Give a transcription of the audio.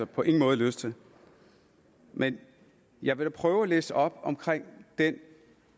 på ingen måde lyst til men jeg vil prøve at læse noget op omkring den